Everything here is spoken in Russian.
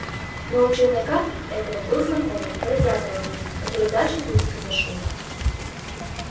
но у челнока этого был знакомый бродяга один который дальше тульской зашёл